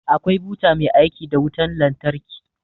Akwai buta mai aiki da wutar lantarki